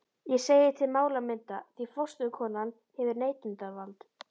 Ég segi til málamynda, því forstöðukonan hefur neitunarvald.